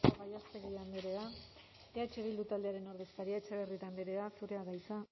asko gallástegui andrea eh bildu taldearen ordezkaria etxebarrieta andrea zurea da hitza